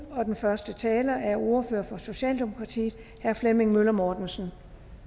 den første taler er ordføreren for socialdemokratiet herre flemming møller mortensen